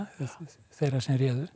þeirra sem réðu